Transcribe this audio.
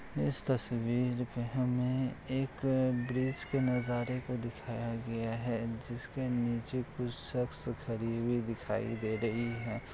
इस तस्वीर में हमें एक ब्रिज के नजारे को दिखाया गया है जिसके नीचे कुछ शख्स खड़ी हुई दिखाई दे रही हैं।